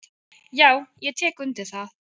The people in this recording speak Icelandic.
"""Já, ég tek undir það."""